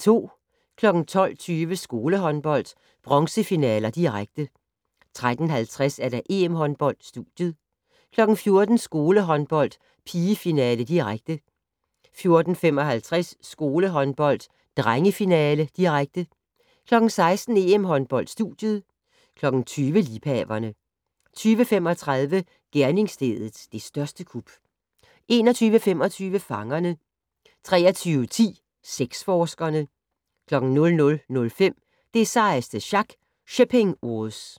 12:20: Skolehåndbold: Bronzefinaler, direkte 13:50: EM-håndbold: Studiet 14:00: Skolehåndbold: Pigefinale, direkte 14:55: Skolehåndbold: Drengefinale, direkte 16:00: EM-håndbold: Studiet 20:00: Liebhaverne 20:35: Gerningsstedet - det største kup 21:25: Fangerne 23:10: Sexforskerne 00:05: Det sejeste sjak - Shipping Wars